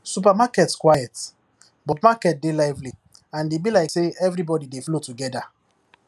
supermarket quiet but market dey lively and e be like say everybody dey flow together